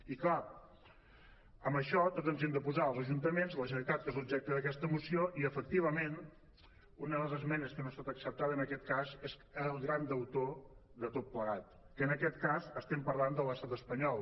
i clar amb això tots ens hi hem de posar els ajuntaments la generalitat que és l’objecte d’aquesta moció i efectivament una de les esmenes que no ha estat accep·tada en aquest cas és el gran deutor de tot plegat que en aquest cas estem parlant de l’estat espanyol